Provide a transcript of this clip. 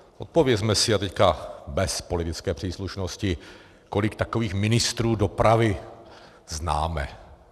Odpovězme si, a teď bez politické příslušnosti, kolik takových ministrů dopravy známe.